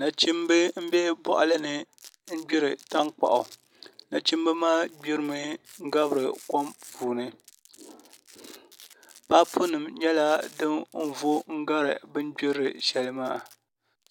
Nachimbi n bɛ boɣali ni n gbiri tankpaɣu nachimbi maa gbirimi gabiri kom puuni paapu nim nyɛla din vo n gari bini gbiri shɛli maa